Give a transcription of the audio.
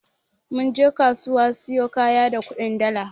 Mun je kasuwa siyo kaya da kudin dala.